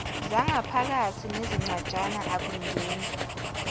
zangaphakathi nezincwajana akngeni